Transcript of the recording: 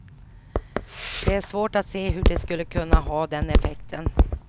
Det är svårt att se hur det skulle kunna ha den effekten.